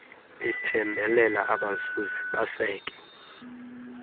iphembelela abazuzi baseke